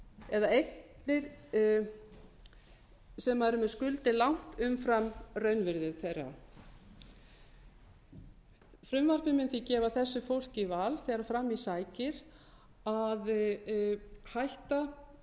eða eignir sem eru með skuldir langt umfram raunvirði þeirra frumvarpið mun því gefa þessu fólki val þegar fram í sækir að hætta